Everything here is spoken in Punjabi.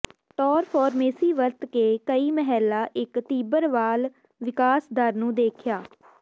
ਟਾਰ ਫਾਰਮੇਸੀ ਵਰਤ ਕਈ ਮਹਿਲਾ ਇੱਕ ਤੀਬਰ ਵਾਲ ਵਿਕਾਸ ਦਰ ਨੂੰ ਦੇਖਿਆ